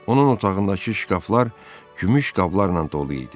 Onun otağındakı şkaflar gümüş qablarla dolu idi.